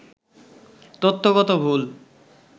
তথ্যগত ভুল